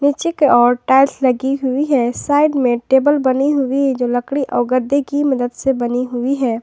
पीछे की ओर टाइल्स लगी हुई है साइड में टेबल बनी हुई जो लकड़ी और गद्दे की मदद से बनी हुई है।